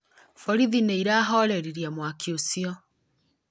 Borithi nĩ irahoririe mwaki ũcio